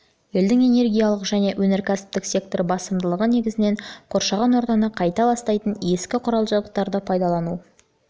елдің энергиялық және өнеркәсіптік секторы басымдылығы негізінен қоршаған ортаны қатты ластайтын ескі қүрал жабдықтарды пайдалану барысында артты